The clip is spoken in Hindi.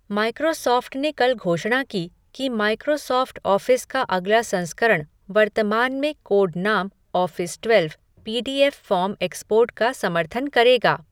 माइक्रोसॉफ़्ट ने कल घोषणा की कि माइक्रोसॉफ़्ट ऑफ़िस का अगला संस्करण, वर्तमान में कोड नाम Office twelve, P D F form export का समर्थन करेगा।